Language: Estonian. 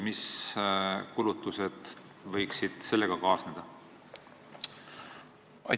Mis kulutused võiksid sellega kaasneda?